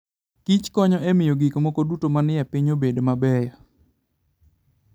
Kich konyo e miyo gik moko duto manie piny obed mabeyo.